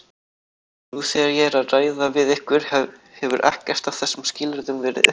Nú þegar ég er að ræða við ykkur hefur ekkert af þessum skilyrðum verið uppfyllt.